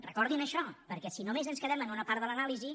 recordin això perquè si només ens quedem amb una part de l’anàlisi